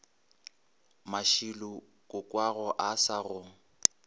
mashilo kokoago a sa go